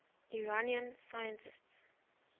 iranian scientists